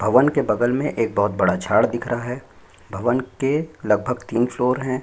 भवन के बगल में बहुत बड़ा झाड़ दिखाई दे रहा है भवन लगभग के तीन फ्लोर है।